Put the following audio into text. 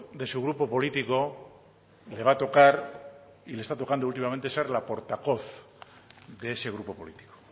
de su grupo político le va a tocar y le está tocando últimamente se la porta coz de ese grupo político